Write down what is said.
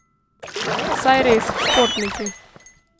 Saj res, športniki.